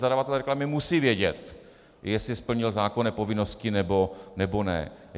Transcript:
Zadavatel reklamy musí vědět, jestli splnil zákonné povinnosti, nebo ne.